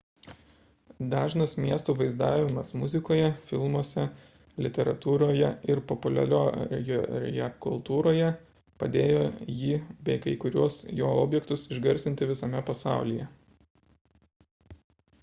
dažnas miesto vaizdavimas muzikoje filmuose literatūroje ir populiariojoje kultūroje padėjo jį bei kai kuriuos jo objektus išgarsinti visame pasaulyje